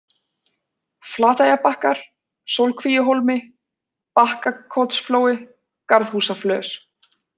Flateyjarbakkar, Sólkvíuhólmi, Bakkakotsflói, Garðhúsaflös